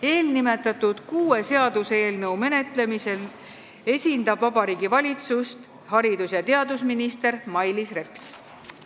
Eelnimetatud kuue seaduseelnõu menetlemisel Riigikogus esindab Vabariigi Valitsust haridus- ja teadusminister Mailis Reps.